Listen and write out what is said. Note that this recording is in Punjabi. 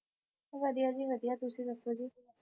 ਵਧੀਆ ਜੀ ਵਧੀਆ ਤੁਸੀਂ ਦੱਸੋ ਜੀ